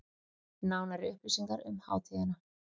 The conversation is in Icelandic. Nánari upplýsingar um hátíðina